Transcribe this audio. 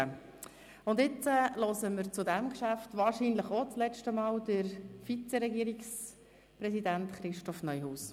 Nun hören wir zu diesem Geschäft wahrscheinlich auch das letzte Mal Herrn Vizeregierungspräsidenten Christoph Neuhaus.